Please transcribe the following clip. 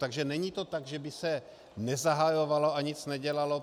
Takže není to tak, že by se nezahajovalo a nic nedělalo.